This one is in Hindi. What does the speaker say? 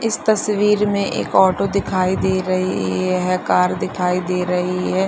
इस तस्वीर में एक ऑटो दिखाई दे रही है कार दिखाई दे रही है।